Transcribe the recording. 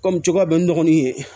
Kɔmi cogoya bɛ n dɔgɔnin ye